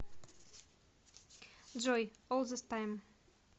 джой ол зис тайм